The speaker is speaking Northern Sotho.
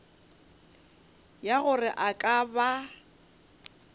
ya gore a ka ba